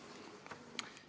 On nii või?